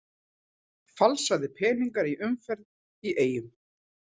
Falsaðir peningar í umferð í Eyjum